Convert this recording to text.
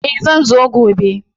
Eh zan zo gobe.